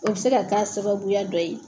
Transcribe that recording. O bi se ka k'a sababuya dɔ ye.